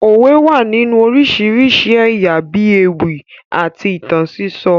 Òwe wà nínú oríṣiríṣi ẹ̀yà bíi ewì àti ìtàn sísọ